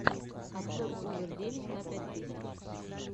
обзор овер девять ка пять тысяч